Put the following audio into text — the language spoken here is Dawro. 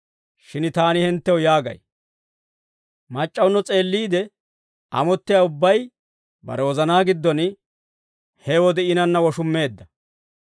Shin taani hinttew yaagay; ‹Mac'c'awuno s'eelliide amottiyaa ubbay, bare wozanaa giddon he wode iinanna woshummeedda.›